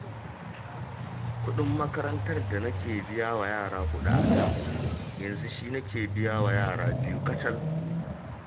Kuɗin makarantar da nake biya wa yara huɗu a da, yanzu shi nake biya wa yara biyu kacal!